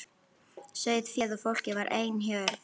Sauðféð og fólkið var ein hjörð.